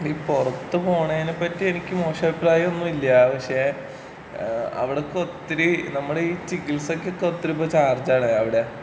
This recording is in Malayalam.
ഈ പൊറത്ത് പോണേനെ പറ്റി എനിക്ക് മോശം അഭിപ്രായം ഒന്നുമില്ലാ. പക്ഷേ ഏഹ് അവിടൊക്കെ ഒത്തിരി നമ്മടെ ഈ ചികിത്സക്കൊക്കെ ഒത്തിരി ചാർജാണ് അവിടെ.